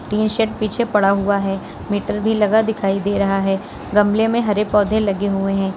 T shirt पीछे पड़ा हुआ है मीटर भी लगा दिखाई दे रहा है गमले में हरे पौधे लगे हुए हैं।